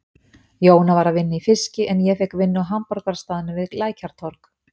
Jóna var að vinna í fiski en ég fékk vinnu á hamborgarastaðnum við Lækjartorg.